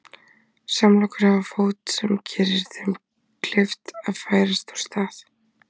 Samlokur hafa fót sem gerir þeim kleift að færast úr stað.